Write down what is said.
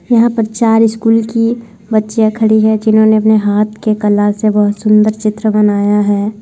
यहाँ पर चार स्कूल की बच्चिया खड़ी है जिन्होंने अपने हाथ के कला से बहुत सुंदर चित्र बनाया है।